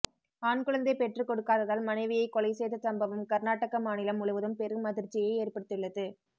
ஆண் குழந்தை பெற்றுக்கொடுக்காததால் மனைவியை கொலை செய்த சம்பவம் கர்நாடக மாநிலம் முழுவதும் பெரும் அதிர்ச்சியை ஏற்படுத்தியுள்ளது